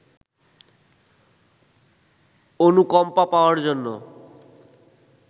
অনুকম্পা পাওয়ার জন্য